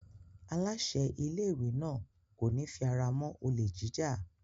Aláṣẹ ilé-ìwé náà kò ní fi ara mọ́ olè jíjà.